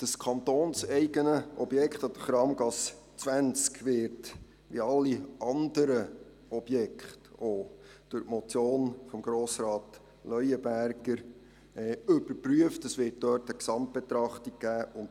Das kantonseigene Objekt an der Kramgasse 20 wird wie alle anderen Objekte aufgrund der Motion Leuenberger überprüft, und es wird eine Gesamtbetrachtung geben.